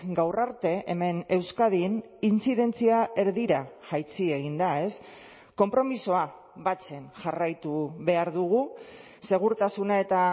gaur arte hemen euskadin intzidentzia erdira jaitsi egin da konpromisoa batzen jarraitu behar dugu segurtasuna eta